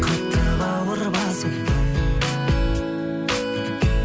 қатты бауыр басыппын